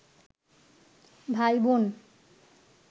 ভাইবোন